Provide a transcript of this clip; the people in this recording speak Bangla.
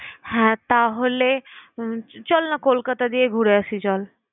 হ্যাঁ তাহলে উম চলনা কলকাতা দিয়ে ঘুরে আসি চল।